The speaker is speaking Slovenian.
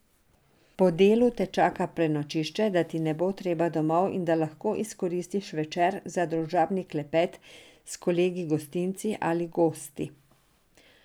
Po delu te čaka prenočišče, da ti ni treba domov in da lahko izkoristiš večer za družabni klepet s kolegi gostinci ali gosti.